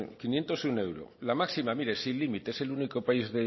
uno euros la máxima mire sin límite es el único país